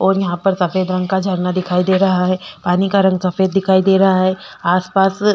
और यहाँ पर सफ़ेद रंग का झरना दिखाई दे रहा है पानी का रंग सफ़ेद दिखाई दे रहा है आसपास--